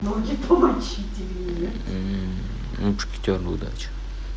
мушкетеры удачи